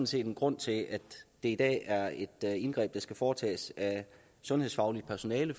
set en grund til at det i dag er et indgreb der skal foretages af sundhedsfagligt personale